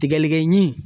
Tigɛlikɛɲin